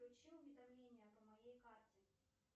включи уведомления по моей карте